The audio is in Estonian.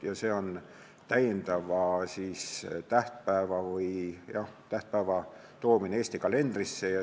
Ja see on täiendava tähtpäeva lisamine Eesti kalendrisse.